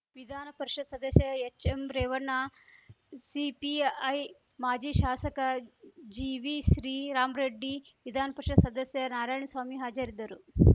ವಿಧಾನ ಪರಿಷತ್‌ ಸದಸ್ಯ ಎಚ್‌ಎಂ ರೇವಣ್ಣ ಸಿಪಿಐ ಮಾಜಿ ಶಾಸಕ ಜಿವಿ ಶ್ರೀರಾಮ್ ರೆಡ್ಡಿ ವಿಧಾನಪರಿಷತ್‌ ಸದಸ್ಯ ನಾರಾಯಣ್ ಸ್ವಾಮಿ ಹಾಜರಿದ್ದರು